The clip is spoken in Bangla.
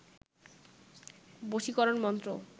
বশীকরণ মন্ত্র